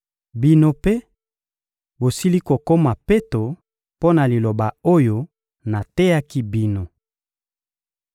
Bino mpe, bosili kokoma peto mpo na liloba oyo nateyaki bino.